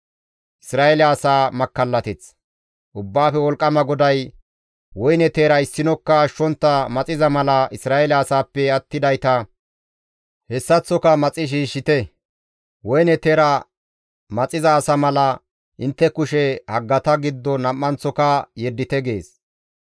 Ubbaafe Wolqqama GODAY, «Woyne teera issinokka ashshontta maxiza mala Isra7eele asaappe attidayta hessaththoka maxi shiishshite. Woyne teera maxiza asa mala intte kushe haggata giddo nam7anththoka yeddite» gees.